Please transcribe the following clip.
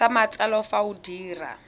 sa matsalo fa o dira